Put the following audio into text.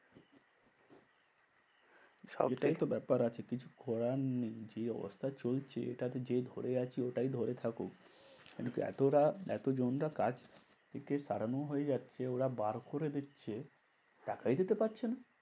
সবটাই তো ব্যাপার আছে কিছু করার নেই। যে অবস্থা চলছে এটাতে যে ধরে আছে ওটাই ধরে থাকুক। এদিকে এতটা এতজন রা কাজ থেকে তাড়ানো হয়ে যাচ্ছে ওরা বার করে দিচ্ছে টাকাই দিতে পারছে না।